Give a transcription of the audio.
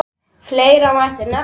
Fleira mætti nefna.